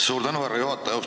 Suur tänu, härra juhataja!